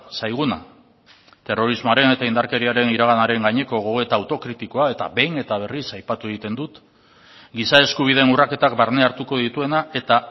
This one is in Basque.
zaiguna terrorismoaren eta indarkeriaren iraganaren gaineko gogoeta autokritikoa eta behin eta berriz aipatu egiten dut giza eskubideen urraketak barne hartuko dituena eta